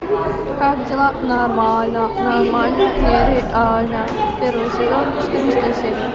как дела нормально нормально нереально первый сезон четырнадцатая серия